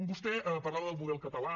vostè parlava del model català